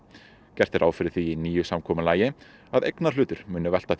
gert er ráð fyrir því í nýju samkomulagi að eignarhlutur muni velta